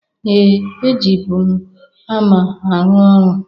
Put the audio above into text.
Ee! E jibu m hama arụ ọrụ.